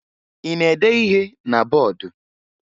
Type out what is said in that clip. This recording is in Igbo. Ị na-ede ihe na bọọdụ?